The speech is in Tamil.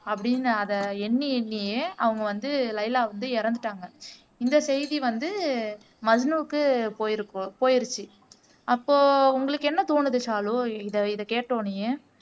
அப்படின்னு அதை எண்ணி எண்ணியே அவங்க வந்து லைலா வந்து இறந்துட்டாங்க இந்த செய்தி வந்து மஜ்னுவுக்கு போயிருக்கு போயிடுச்சு அப்போ உங்களுக்கு என்ன தோணுது ஷாலு இதை இதை கேட்ட உடனேயே